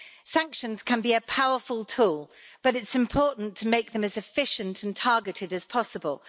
Sanctions can be a powerful tool, but it's important to make them as efficient and as targeted as possible.